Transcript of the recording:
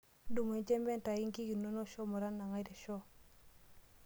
Tudumu enjempe ntayu inkik inonok shomo tanang'ai te shoo.